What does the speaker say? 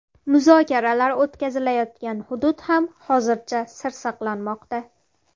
Muzokaralar o‘tkazilayotgan hudud ham hozircha sir saqlanmoqda.